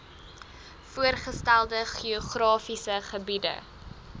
voorgestelde geografiese gebiede